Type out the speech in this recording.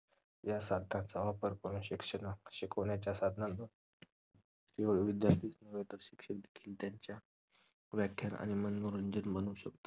ह्या सारख्या जबाबदार पणे शिक्षण शिकव्ण्याच्या साधनांना विद्यार्थी च न्हवे तर शिक्षक देखील त्यांच्या व्याख्यान आणि मनोरंजन म्हणू शकता